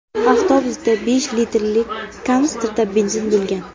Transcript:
Avtobusda besh litrli kanistrda benzin bo‘lgan.